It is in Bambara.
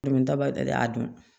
a don